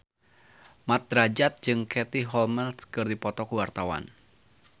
Mat Drajat jeung Katie Holmes keur dipoto ku wartawan